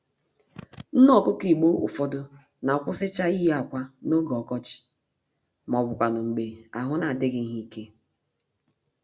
Nné-Ọkụkọ Igbo ụfọdụ n'akwụsịcha iyi ákwà n'oge ọkọchị, mọbụkwanụ̀ mgbè ahụ n'adịghị ha íke